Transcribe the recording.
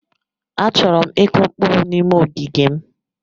Achọrọ m ịkụ mkpụrụ n'ime ogige m.